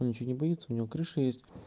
он ничего не боится у него крыша есть